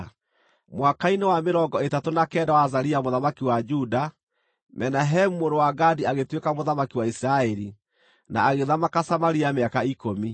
Mwaka-inĩ wa mĩrongo ĩtatũ na kenda wa Azaria mũthamaki wa Juda, Menahemu mũrũ wa Gadi agĩtuĩka mũthamaki wa Isiraeli, na agĩthamaka Samaria mĩaka ikũmi.